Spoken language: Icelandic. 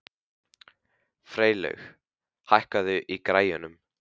Freylaug, hækkaðu í græjunum.